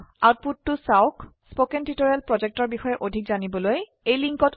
আউটপুটতো চাওক spoken tutorial projectৰ বিষয়ে অধিক জানিবলৈ তলৰ সংযোগত থকা ভিডিঅ চাওক